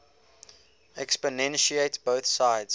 exponentiate both sides